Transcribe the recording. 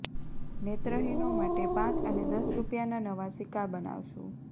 નેત્રહીનો માટે પાંચ અને દસ રૂપિયાના નવા સિક્કા બનાવશું